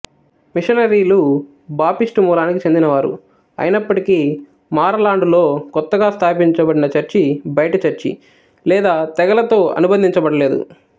మిషనరీలు Baptist మూలానికి చెందినవారు అయినప్పటికీ మారలాండులో కొత్తగా స్థాపించబడిన చర్చి బయటి చర్చి లేదా తెగలతో అనుబంధించబడలేదు